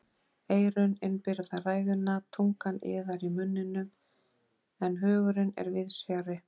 Eyrun innbyrða ræðuna, tungan iðar í munninum, en hugurinn er víðs fjarri.